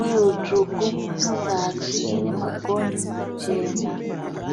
uye rutsvuku muzasi. Ine magonhi machena.